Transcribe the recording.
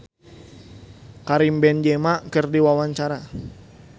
Andy rif olohok ningali Karim Benzema keur diwawancara